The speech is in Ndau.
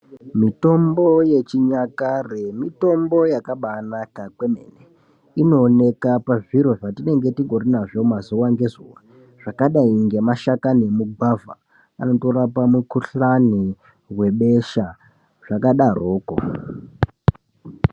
Mitombo yechinyakare mitombo yakabanaka kwemene. Inooneka pazviro zvatinenge tingori nazvo mazuwa ngezuwa zvakadai ngemashakani emugwavha, anotorapa mukhuhlani webesha, zvakadarokwo.